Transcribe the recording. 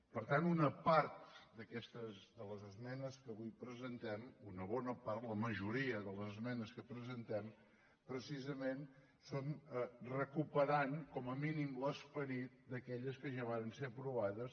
per tant una part d’aquestes de les esmenes que avui presentem una bona part la majoria de les esmenes que presentem precisament són recuperant com a mínim l’esperit d’aquelles que ja varen ser aprovades